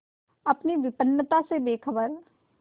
अपनी विपन्नता से बेखबर